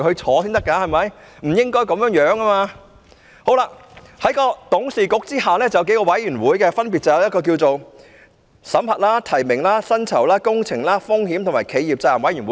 此外，港鐵公司在董事局下還設有數個委員會，分別是審核、提名、薪酬、工程、風險和企業責任委員會。